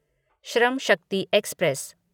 Shram Shakti express